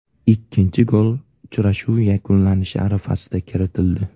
Ikkinchi gol uchrashuv yakunlanishi arafasida kiritildi.